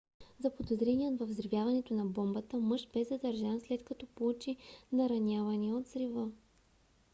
заподозреният във взривяването на бомбата мъж бе задържан след като получи наранявания от взрива